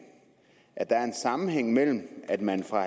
at der er en sammenhæng mellem det at man fra